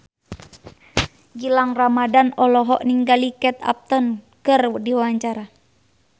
Gilang Ramadan olohok ningali Kate Upton keur diwawancara